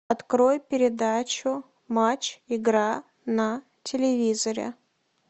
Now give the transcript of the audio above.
открой передачу матч игра на телевизоре